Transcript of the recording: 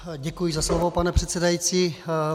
Děkuji za slovo, pane předsedající.